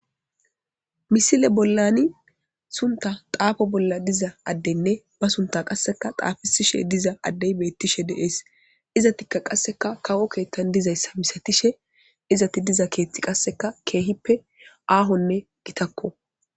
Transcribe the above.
misile bollani sunta xaafo bolla diza addenne ba sunta qasseka xaafisishe diza addey beettishe deees izatikka qasseka kawo keettan dizayssa misatishe izati diza keethti qasseka keehippe aahonne gitakko